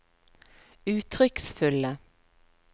uttrykksfulle